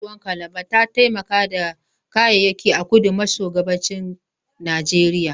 Tashar ruwan Calabar ta taimaka da kayayyaki a kudu maso gabashin Najeriya.